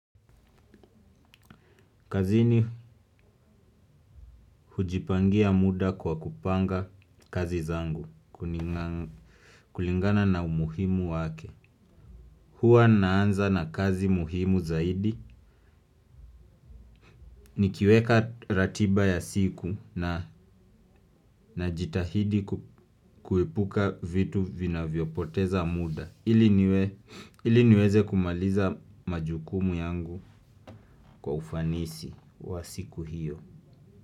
Kazini hujipangia muda kwa kupanga kazi zangu, kulingana na umuhimu wake. Huwa naanza na kazi muhimu zaidi, nikiweka ratiba ya siku na jitahidi kuepuka vitu vinavyopoteza muda ili niwe. Ili niweze kumaliza majukumu yangu kwa ufanisi wa siku hiyo.